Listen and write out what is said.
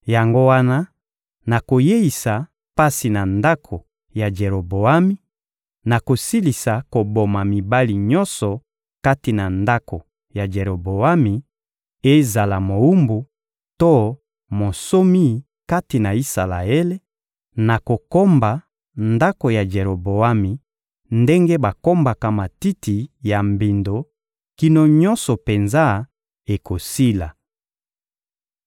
Yango wana, nakoyeisa pasi na ndako ya Jeroboami, nakosilisa koboma mibali nyonso kati na ndako ya Jeroboami, ezala mowumbu to monsomi kati na Isalaele; nakokomba ndako ya Jeroboami ndenge bakombaka matiti ya mbindo, kino nyonso penza ekosila.